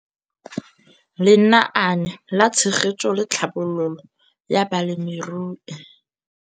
Lenaane la Tshegetso le Tlhabololo ya Balemirui